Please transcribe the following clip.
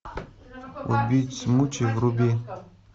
убить смучи вруби